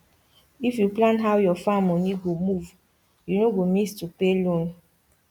if you plan how your farm money go move you no go miss to pay loan